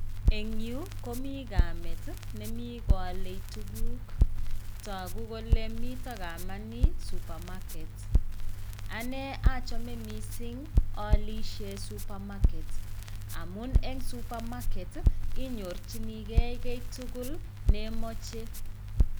Eng yu ,komii kamet nemi kwale tuguk. Tagu kole mi kameni supermaket. ane achame missing aalishe supermarket. Amuu eng supermarket inyorchinigey tuguk tugul che imachei.